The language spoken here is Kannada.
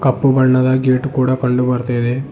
ಕಪ್ಪು ಬಣ್ಣದ ಗೇಟ್ ಕೂಡ ಕಂಡು ಬರ್ತಾ ಇದೆ.